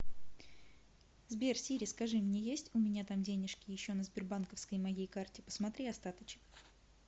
сбер сири скажи мне есть у меня там денежки еще на сбербанковской моей карте посмотри остаточек